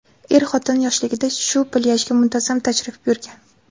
Er-xotin yoshligida shu plyajga muntazam tashrif buyurgan.